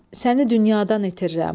Səni dünyadan itirirəm.